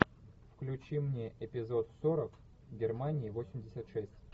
включи мне эпизод сорок германии восемьдесят шесть